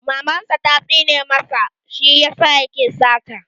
Maman sa ta tsine masa shi yasa yake sata.